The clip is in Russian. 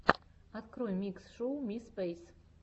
открой микс шоу ми спейс